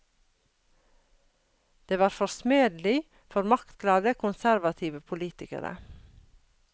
Det var forsmedelig for maktglade konservative politikere.